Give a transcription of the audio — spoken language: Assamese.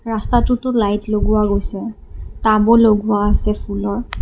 ৰস্তাতুটো লাইট লগোৱা গৈছে টাবু লগোৱা আছে ফুলৰ।